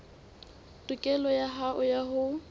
tokelo ya hao ya ho